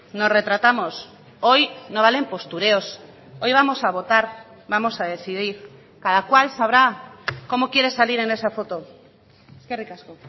nos retratamos hoy no valen postureos hoy vamos a votar vamos a decidir cada cual sabrá cómo quiere salir en esa foto eskerrik asko